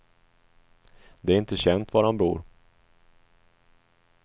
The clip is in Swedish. Det är inte känt var han bor.